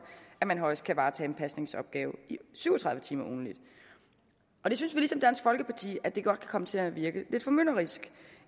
at man højst kan varetage en pasningsopgave i syv og tredive timer ugentligt og det synes vi ligesom dansk folkeparti godt kan komme til at virke lidt formynderisk